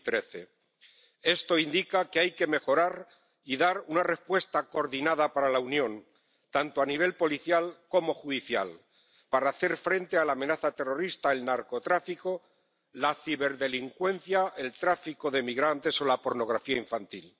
2013. Esto indica que hay que mejorar y dar una respuesta coordinada para la Unión, tanto a nivel policial como judicial, para hacer frente a la amenaza terrorista, el narcotráfico, la ciberdelincuencia, el tráfico de migrantes o la pornografía infantil.